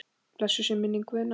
Blessuð sé minning Guðna.